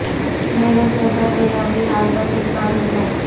مرے جیسا ترا بھی حال بس اک بار ہوجائے